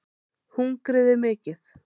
Hungrið er mikið